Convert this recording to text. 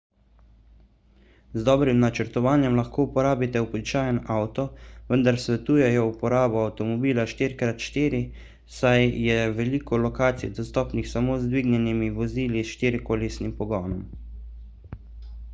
z dobrim načrtovanjem lahko uporabite običajen avto vendar svetujejo uporabo avtomobila 4 x 4 saj je veliko lokacij dostopnih samo z dvignjenimi vozili s štirikolesnim pogonom